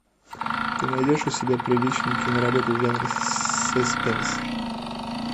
ты найдешь у себя приличную киноработу в жанре саспенс